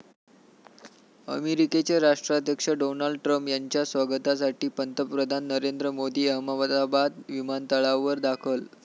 अमेरिकेचे राष्ट्राध्यक्ष Donald Trump यांच्या स्वागतासाठी पंतप्रधान नरेंद्र मोदी अहमदाबाद विमानतळावर दाखल